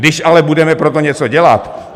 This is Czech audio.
Když ale budeme pro to něco dělat!